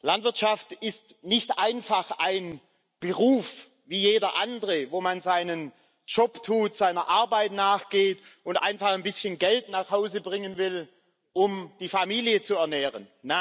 Landwirtschaft ist nicht einfach ein Beruf wie jeder andere, bei dem man seinen Job tut, seiner Arbeit nachgeht und einfach ein bisschen Geld nach Hause bringen will, um die Familie zu ernähren.